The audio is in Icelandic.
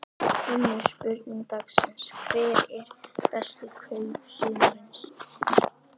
Önnur spurning dagsins: Hver eru bestu kaup sumarsins?